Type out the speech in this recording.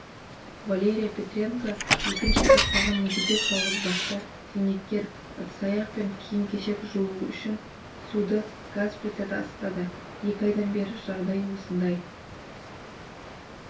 валерия петренко екінші топтағы мүгедек жалғызбасты зейнеткер ыдыс-аяқ пен киім-кешек жуу үшін суды газ плитада ысытады екі айдан бері жағдай осындай